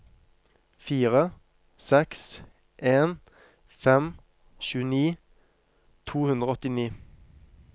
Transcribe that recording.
fire seks en fem tjueni to hundre og åttini